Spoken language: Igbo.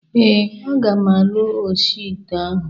Ee, aga m alụ oshi ite ahụ